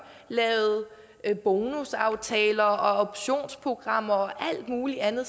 lavet bonusaftaler og optionsprogrammer og alt muligt andet